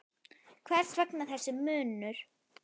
Hvers vegna þessi munur?